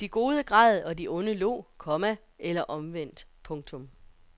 De gode græd og de onde lo, komma eller omvendt. punktum